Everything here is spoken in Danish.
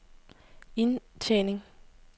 indtjening